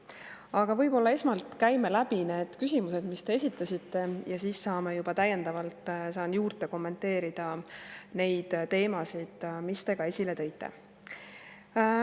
Aga võib-olla esmalt käime läbi need küsimused, mis te esitasite, ja siis juba täiendavalt saan juurde kommenteerida neid teemasid, mis te ka esile tõite.